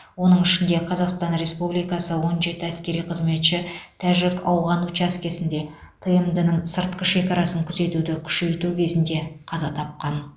оның ішінде қазақстан республикасы он жеті әскери қызметші тәжік ауған учаскесінде тмд ның сыртқы шекарасын күзетуді күшейту кезінде қаза тапқан